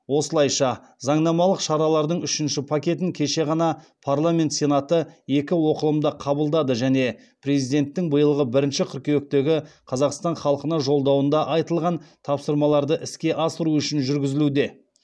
осылайша заңнамалық шаралардың үшінші пакетін кеше ғана парламент сенаты екі оқылымда қабылдады және президенттің биылғы бірінші қыркүйектегі қазақстан халқына жолдауында айтылған тапсырмаларды іске асыру үшін жүргізілуде